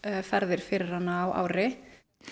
ferðir fyrir hana á ári